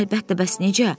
Əlbəttə, bəs necə?